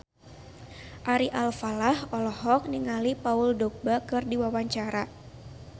Ari Alfalah olohok ningali Paul Dogba keur diwawancara